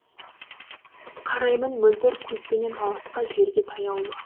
қараймын мөлдір көзбенен алысқа жерге таяулы